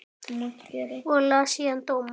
Og las síðan dóma.